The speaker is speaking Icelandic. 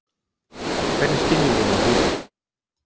Hvernig skynjum við með húðinni?